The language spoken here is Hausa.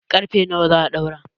ƙarfe nawa za a ɗaura?